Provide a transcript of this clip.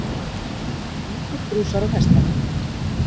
Mjólkurbrúsar á hestvagni.